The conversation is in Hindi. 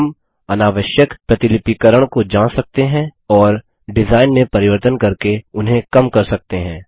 हम अनावश्यक प्रतिलिपिकरण को जांच सकते हैं और डिजाइन में परिवर्तन करके उन्हें कम कर सकते हैं